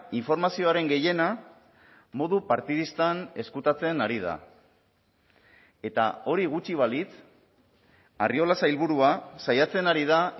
informazioaren gehiena modu partidistan ezkutatzen ari da eta hori gutxi balitz arriola sailburua saiatzen ari da